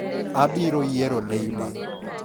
Abiro yiero Neymar.